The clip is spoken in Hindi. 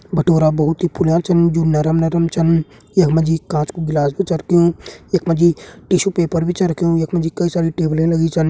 भटूरा बहुत ही फुल्या छन जू नरम नरम छन यखमा जी कांच कु गिलास भी छ रख्युं यखमा जी टिशू पेपर भी छ रख्युं यखमा जी कई सारी टेबलें लगीं छन।